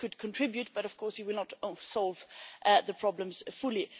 This could contribute, but of course it will not solve the problems fully.